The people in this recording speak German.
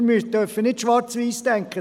Wir dürfen nicht schwarz-weiss denken.